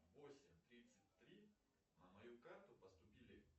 восемь тридцать три на мою карту поступили